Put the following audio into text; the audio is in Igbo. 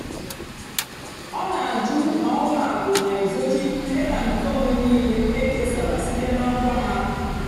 ọ́ nà-àjụ́ mà ùlọ àkụ́ nà-èzóchì dátà nkèónwé níìlé ékésárá síte nà ngwá há.